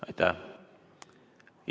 Aitäh!